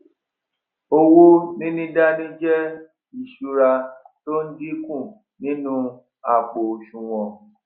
owó níní dání jé ìsúra tó n dínkù nínú àpò òsùwòn